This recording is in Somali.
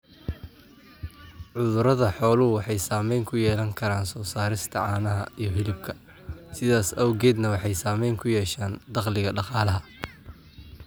Cudurada xooluhu waxay saamayn ku yeelan karaan soo saarista caanaha iyo hilibka, sidaas awgeedna waxay saamayn ku yeeshaan dakhliga dhaqalaha.